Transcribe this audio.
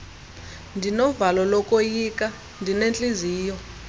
ndinovalo lokoyika ndinentiliziyo